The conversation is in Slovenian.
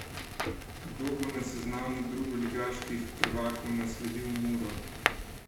Kdo bo na seznamu drugoligaških prvakov nasledil Muro?